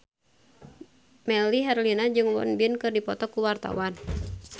Melly Herlina jeung Won Bin keur dipoto ku wartawan